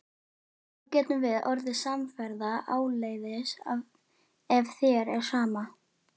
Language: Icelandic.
Þá getum við orðið samferða áleiðis ef þér er sama.